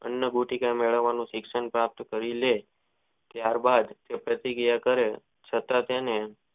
અન ભુતી ઓ વાળા ને શિક્ષણ પ્રાપ્ત કરી ત્યાર બાદ તે પ્રતિ ક્રિયા કરે છતાંય તેને.